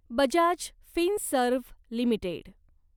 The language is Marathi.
Bajaj Finserv limited